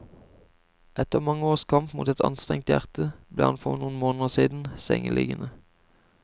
Etter mange års kamp mot et anstrengt hjerte ble han for noen måneder siden sengeliggende.